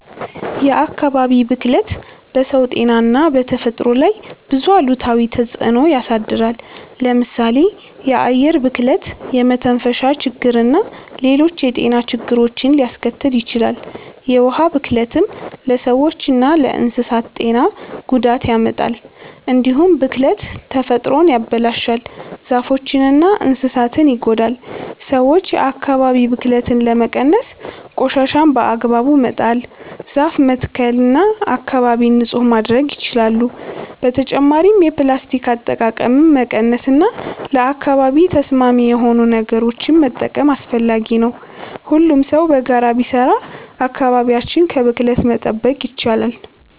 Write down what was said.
የአካባቢ ብክለት በሰው ጤና እና በተፈጥሮ ላይ ብዙ አሉታዊ ተጽዕኖ ያሳድራል። ለምሳሌ የአየር ብክለት የመተንፈሻ ችግርና ሌሎች የጤና ችግሮችን ሊያስከትል ይችላል። የውሃ ብክለትም ለሰዎችና ለእንስሳት ጤና ጉዳት ያመጣል። እንዲሁም ብክለት ተፈጥሮን ያበላሻል፣ ዛፎችንና እንስሳትን ይጎዳል። ሰዎች የአካባቢ ብክለትን ለመቀነስ ቆሻሻን በአግባቡ መጣል፣ ዛፍ መትከል እና አካባቢን ንጹህ ማድረግ ይችላሉ። በተጨማሪም የፕላስቲክ አጠቃቀምን መቀነስ እና ለአካባቢ ተስማሚ የሆኑ ነገሮችን መጠቀም አስፈላጊ ነው። ሁሉም ሰው በጋራ ቢሰራ አካባቢያችንን ከብክለት መጠበቅ ይቻላል።